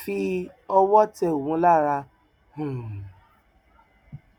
fi ọwọ tẹ òun lára um